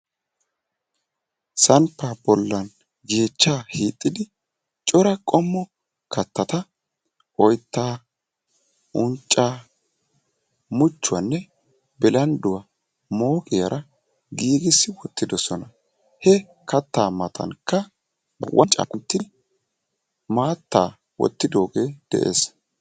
sampaa bolan yeechchaa hiixxidi cora qommo kattata oyttaa, unccaa, muchchuwanne bilandduwa mooqiyaara giigissi uttidosona. he kataa matankka wanccaa kunti maattaa wottidoogee de'ees.